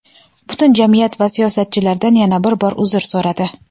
butun jamiyat va siyosatchilardan yana bir bor uzr so‘radi:.